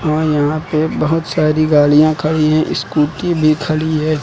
हां यहां पे बहुत सारी गाड़ियां खड़ी हैं स्कूटी भी खड़ी है।